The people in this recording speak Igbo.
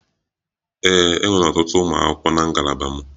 Ee, e nwere ọtụtụ ụmụ akwụkwọ na ngalaba m.